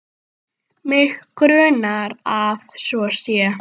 Mig grunar að svo sé.